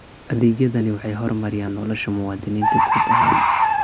Adeegyadani waxay horumariyaan nolosha muwaadiniinta guud ahaan.